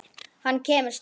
Hann kemur snemma.